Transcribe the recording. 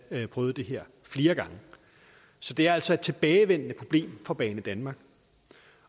prøvet det her flere gange så det er altså et tilbagevendende problem for banedanmark